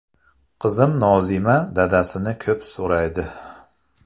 Qizim Nozima dadasini ko‘p so‘raydi.